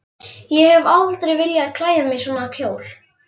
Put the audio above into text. Ég hef aldrei viljað klæða mig í svona dress.